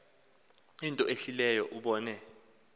into ehlileyo ubone